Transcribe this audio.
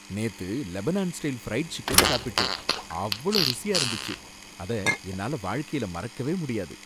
நேத்து Lebanon style fried chicken சாப்பிட்டேன், அவ்ளோ ருசியா இருந்துச்சு, அத என்னால வாழ்க்கைல மறக்கவே முடியாது.